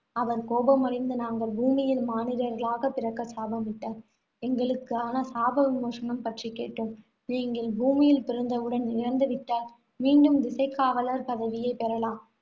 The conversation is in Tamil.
அவர் கோபமடைந்து, நாங்கள் பூமியில் மானிடர்களாகப் பிறக்க சாபமிட்டார் எங்களுக்கான சாப விமோசனம் பற்றி கேட்டோம். நீங்கள் பூமியில் பிறந்தவுடன் இறந்து விட்டால், மீண்டும் திசைக்காவலர் பதவியைப் பெறலாம்